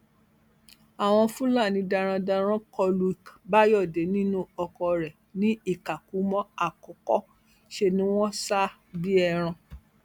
àwọn fúlàní darandaran kọ lu bayọde nínú ọkọ rẹ ní ìkàkùmọ àkọkọ ṣe ni wọn sá a bíi ẹran